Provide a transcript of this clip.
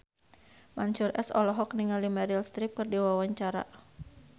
Mansyur S olohok ningali Meryl Streep keur diwawancara